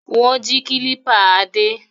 Wọ́n jí kílípà Adé?